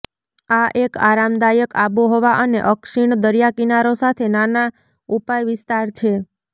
આ એક આરામદાયક આબોહવા અને અક્ષીણ દરિયાકિનારો સાથે નાના ઉપાય વિસ્તાર છે